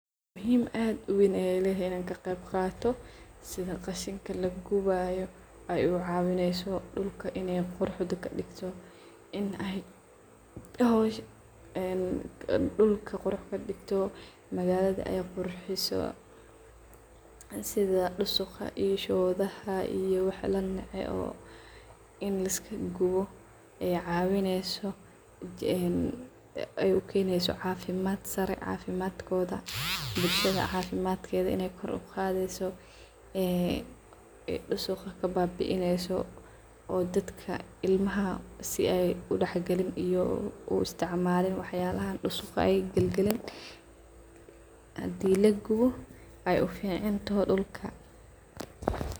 Muhiim aad uweyn ay ledahay inaan ka qeeb qaato sidhaa qashanka lagubayo ay ucawinayso dulka inay quruxda kadigto inay magaladha ay qurxiso sidhaa dusuqa iyoo shodha iyo wax lanece oo in laiska guwo oo caywinyso een ay ukaynayso cafimaadsare cafimadkodha bulshadha cafimatkedha inaykoor ugadhayso ee ay dusuga kababieneso oo dadka ilmaha sidhay udaxgalin ay uu isticmalin waxa yala dusuga ay galgalin hadii lagubo ay uficantoho dulka.